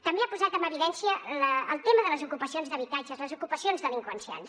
també ha posat en evidència el tema de les ocupacions d’habitatges les ocupacions delinqüencials